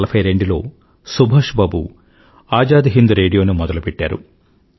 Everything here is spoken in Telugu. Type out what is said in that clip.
1942లోసుభాష్ బాబు ఆజాద్ హిండ్ రేడియోను మొదలుపెట్టారు